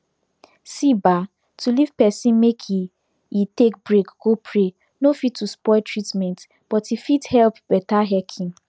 see bah to leave pesin make e e take break go pray nor fit to spoil treatment but e fit helep beta heaking